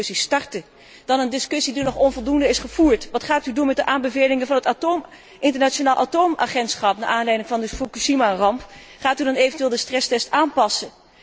Gaat u die discussie starten? Vervolgens een discussie die nog onvoldoende is gevoerd wat gaat u doen met de aanbevelingen van het Internationaal Atoomagentschap naar aanleiding van de Fukushimaramp? Gaat u eventueel de stresstest aanpassen?